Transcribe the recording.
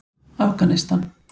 Afganistan